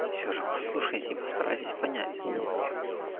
и все же послушайте и постарайтесь понять